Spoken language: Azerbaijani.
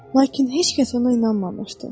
Lakin heç kəs ona inanmamışdı.